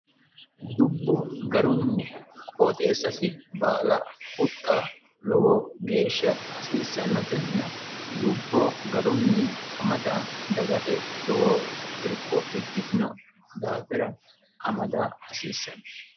dubbo garunni qooxeessasi baala huxxa lowo geeshsha hasiissannotenna dubbo garunni amada dagate lowo irko ikkitino daafira amada hasiissanno